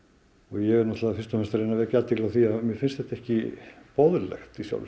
ég er fyrst og fremst að reyna að vekja athygli á því að mér finnst þetta ekki boðlegt í sjálfu